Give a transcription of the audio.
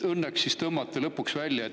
Õnneks tõmbuti sealt lõpuks välja.